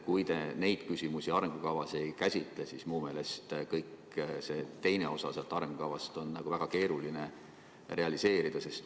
Kui te neid küsimusi arengukavas ei käsitle, siis minu meelest kõike seda muud, mis selles arengukavas on, on väga keeruline realiseerida.